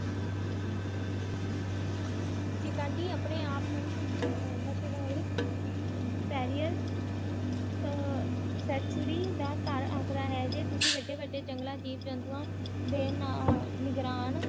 ਸ਼ੇਸਕਗੀ ਆਪਣੇ ਆਪ ਨੂੰ ਮਸ਼ਹੂਰ ਪ੍ਰ੍ਰ ਸੈਂਚਰੀ ਦਾ ਜੇ ਤੁਸੀ ਵਡੇ ਵਡਾਯੁ ਜੰਗਲ ਤੇ ਜਿਵ ਜੰਤੂਆਂ ਨਾਲ